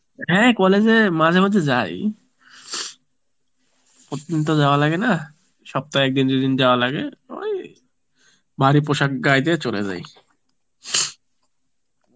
হ্যাঁ college এ মাঝে মাঝে যাই, প্রতিদিন তো যাওয়া লাগে না সপ্তাহে একদিন দুদিন যাওয়া লাগে, ওই, ভারী পোষাক গায়ে দিয়ে চলে যাই